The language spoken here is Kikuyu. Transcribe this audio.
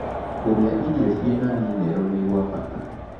Kũrĩa irio ĩrĩ na mĩneral nĩ gwa bata